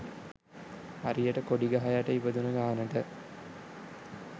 හරියට කොඩි ගහ යට ඉපදුන ගානට